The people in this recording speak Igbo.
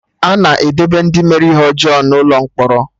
Ana edebe Ndị mere ihe ọjọọ n'Ụlọ mkpọrọ